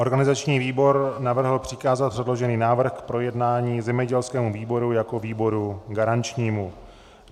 Organizační výbor navrhl přikázat předložený návrh k projednání zemědělskému výboru jako výboru garančnímu.